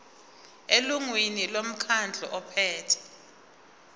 elungwini lomkhandlu ophethe